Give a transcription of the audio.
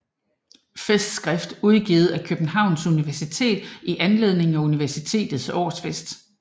Festskrift udgivet af Københavns Universitet i anledning af Universitetets årsfest